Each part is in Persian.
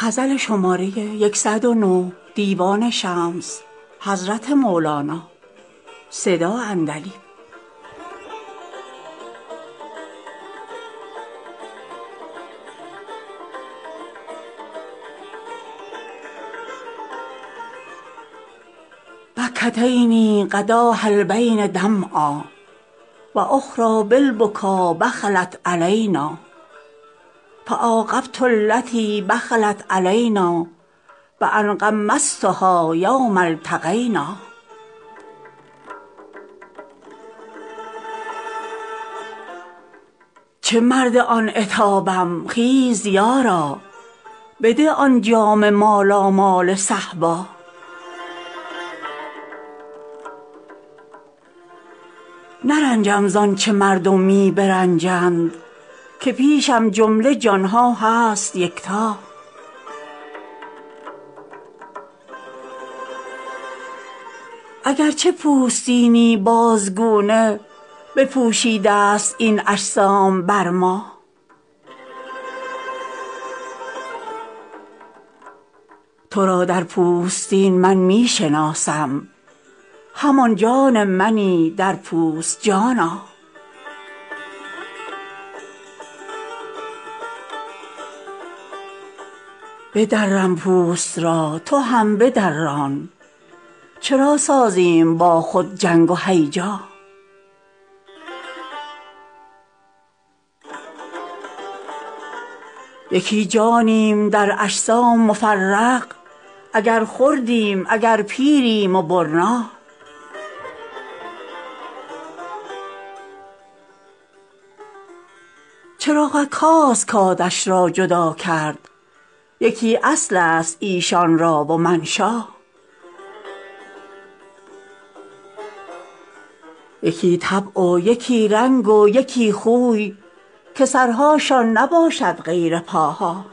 بکت عینی غداه البین دمعا و اخری بالبکا بخلت علینا فعاقبت التی بخلت علینا بان غمضتها یوم التقینا چه مرد آن عتابم خیز یارا بده آن جام مالامال صهبا نرنجم ز آنچ مردم می برنجند که پیشم جمله جان ها هست یکتا اگر چه پوستینی بازگونه بپوشیده ست این اجسام بر ما تو را در پوستین من می شناسم همان جان منی در پوست جانا بدرم پوست را تو هم بدران چرا سازیم با خود جنگ و هیجا یکی جانیم در اجسام مفرق اگر خردیم اگر پیریم و برنا چراغک هاست کآتش را جدا کرد یکی اصل است ایشان را و منشا یکی طبع و یکی رنگ و یکی خوی که سرهاشان نباشد غیر پاها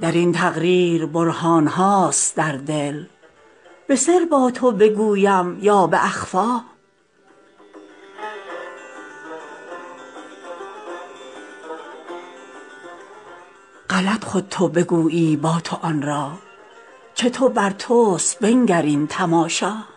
در این تقریر برهان هاست در دل به سر با تو بگویم یا به اخفا غلط خود تو بگویی با تو آن را چه تو بر توست بنگر این تماشا